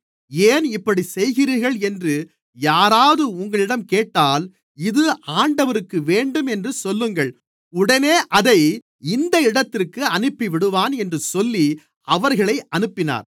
ஏன் இப்படிச் செய்கிறீர்கள் என்று யாராவது உங்களிடம் கேட்டால் இது ஆண்டவருக்கு வேண்டும் என்று சொல்லுங்கள் உடனே அதை இந்த இடத்திற்கு அனுப்பிவிடுவான் என்று சொல்லி அவர்களை அனுப்பினார்